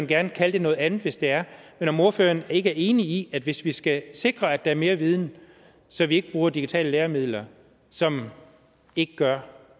gerne kalde det noget andet hvis det er er ordføreren ikke enig i at hvis vi skal sikre at der er mere viden så vi ikke bruger digitale læremidler som ikke gør